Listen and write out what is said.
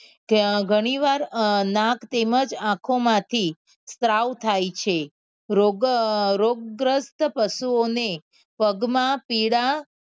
ગણી વાર અ નાક તેમજ આંખો માં થી સ્ત્રાવ થાય છે રોગ અ રોગ ગ્રસ્ત પશુઓ ને પગ માં પીડા